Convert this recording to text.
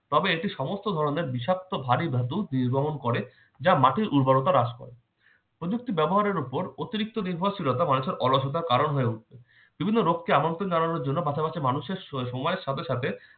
তবে এটি সমস্ত ধরনের বিষাক্ত ভারী ধাতু নির্গমন করে যা মাটির উর্বরতা হ্রাস পায়। প্রযুক্তি ব্যবহারের উপর অতিরিক্ত নির্ভরশীলতা মানুষের অলসতার কারণ হয়ে ওঠে, বিভিন্ন রোগ কে আমন্ত্রণ জানানোর জন্য পাশা পাশি মানুষের শরী~ সময়ের সাথে সাথে